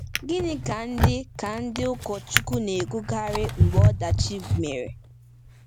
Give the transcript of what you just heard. Gịnị ka ndị ka ndị ụkọchukwu na-ekwukarị mgbe ọdachi mere?